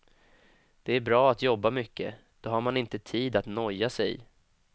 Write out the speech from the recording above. Det är bra att jobba mycket, då har man inte tid att noja sig.